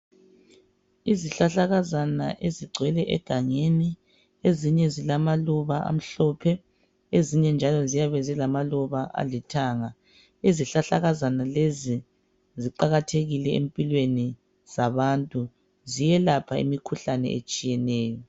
Izihlahlakazana ezigcwele egangeni, ezinye zilamaluba amhlophe, ezinye njalo ziyabe zilamaluba alithanga .Izihlahlakazana lezi ziqakathekile empilweni zabantu ziyelapha imikhuhlane etshiyeneyo.